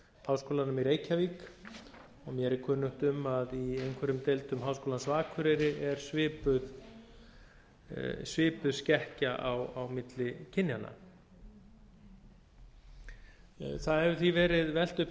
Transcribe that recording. háskólanum í reykjavík og mér er kunnugt um að í einhverjum deildum háskólans á akureyri er svipuð skekkja á milli kynjanna það hefur því verið velt upp